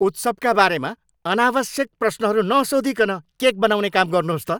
उत्सवका बारेमा अनावश्यक प्रश्नहरू नसोधीकन केक बनाउने काम गर्नुहोस् त।